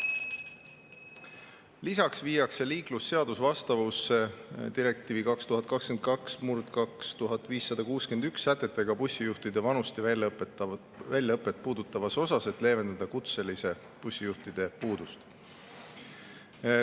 Lisaks viiakse liiklusseadus vastavusse direktiivi 2022/2561 sätetega bussijuhtide vanust ja väljaõpet puudutavas osas, et leevendada kutseliste bussijuhtide puudust.